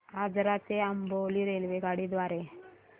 आजरा ते अंबोली रेल्वेगाडी द्वारे